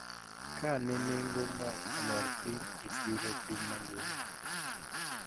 Ka ne nengo mo olor piny e chiro piny mangima